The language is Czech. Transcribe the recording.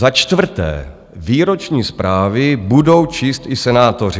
Za čtvrté - výroční zprávy budou číst i senátoři.